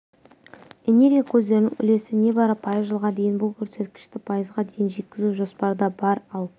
энергия көздерінің үлесі небары пайыз жылға дейін бұл көрсеткішті пайызға дейін жеткізу жоспарда бар ал